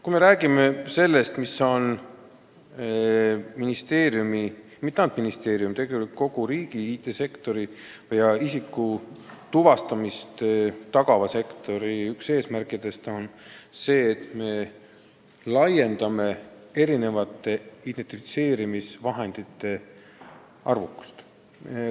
Kui me räägime sellest, mis ei ole mitte ainult ministeeriumi, vaid tegelikult kogu riigi IT-sektori, sh isiku tuvastamist tagava sektori üks eesmärkidest, siis on see identifitseerimisvahendite arvukuse laiendamine.